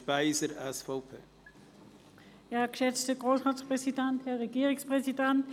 Das Wort hat Grossrätin Speiser, SVP.